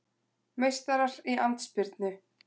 Meistarar í andspyrnu